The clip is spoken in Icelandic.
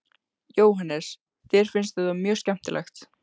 Jóhannes: Þér finnst þetta mjög skemmtilegt?